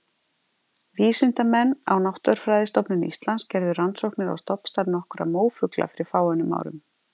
vísindamenn frá náttúrufræðistofnun íslands gerðu rannsóknir á stofnstærð nokkurra mófugla fyrir fáeinum árum